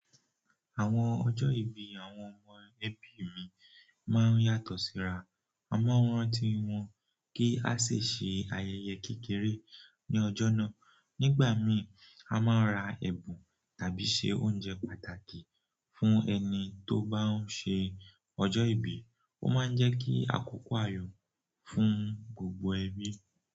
Àwọn ọjọ́ ìbí àwọn ọmọ ẹbí mi máa ń yàtọ̀ síra. A máa ń rántí wọn kí a ṣe ayẹyẹ kékeré ní ọjọ́ náà. Nígbà míì, a máa ń ra ẹ̀bùn tàbí ṣe oúnjẹ pàtàkì fún ẹni tó bá ń ṣe ọjọ́ ìbí. Ó máa ń jẹ́ kí àkókò àyò fún gbogbo ẹbí.